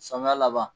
Samiya laban